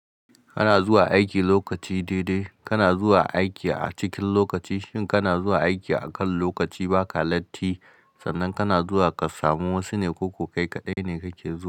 Kana zuwa aiki lokaci daidai, kana zuwa aiki a cikin lokaci. Shin kana zuwa aiki akan lokaci? Ba ka latti sannan kana zuwa ka samu wasu ne ko ko kai kaɗai ne kake zuwa?